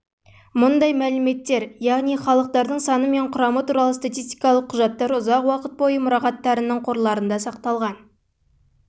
мұндай мәліметтер яғни халықтардың саны мен құрамы туралы статистикалық құжаттар ұзақ уақыт бойы мұрағаттарының қорларында сақталған